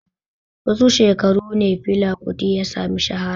Wasu shekaru ne Fela Kuti ya sami shahara?